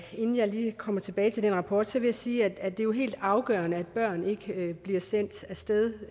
kommer tilbage til den rapport vil jeg sige at det jo er helt afgørende at børn ikke bliver sendt af sted